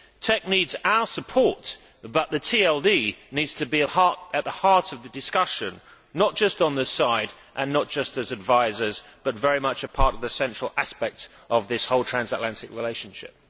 TEC needs our support, but the TLD needs to be at the heart of the discussion not just on the side and not just as advisers, but very much part of the central aspect of this whole transatlantic relationship.